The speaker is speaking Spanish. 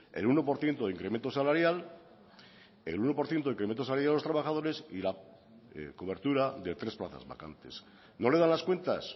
el uno por ciento de incremento salarial el uno por ciento de incremento salarial a los trabajadores y la cobertura de tres plazas vacantes no le dan las cuentas